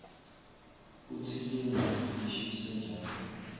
kutsi linga lishisa njani